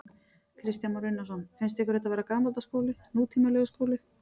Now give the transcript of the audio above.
Kristján Már Unnarsson: Finnst ykkur þetta vera gamaldags skóli, nútímalegur skóli?